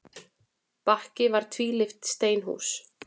Bakki var tvílyft steinhús.